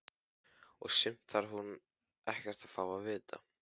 Og sumt þarf hún ekkert að fá að vita.